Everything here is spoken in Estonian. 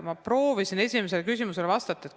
Ma proovisin seda esimesele küsimusele vastates öelda.